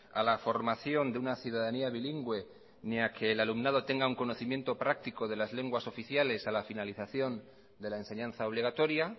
a la formación de una ciudadanía bilingüe ni a que el alumnado tenga un conocimiento práctico de las lenguas oficiales a la finalización de la enseñanza obligatoria